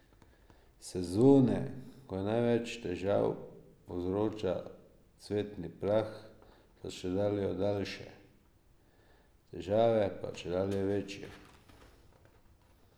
Sezone, ko največ težav povzroča cvetni prah, so čedalje daljše, težave pa čedalje večje.